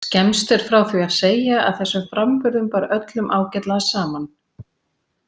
Skemmst er frá því að segja að þessum framburðum bar öllum ágætlega saman.